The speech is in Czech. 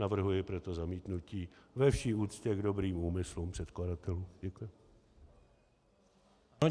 Navrhujeme proto zamítnutí ve vší úctě k dobrým úmyslům předkladatelů.